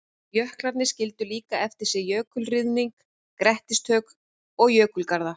Jöklarnir skildu líka eftir sig jökulruðning, grettistök og jökulgarða.